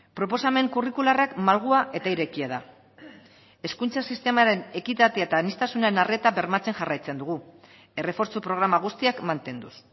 proposamen kurrikularrak malgua eta irekia da hezkuntza sistemaren ekitatea eta aniztasuna arreta bermatzen jarraitzen dugu errefortzu programa guztiak mantenduz